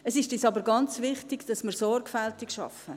Es ist uns aber ganz wichtig, dass wir sorgfältig arbeiten.